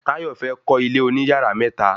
Tayo fẹ́ kọ́ ilé oní yàrá mẹ́ta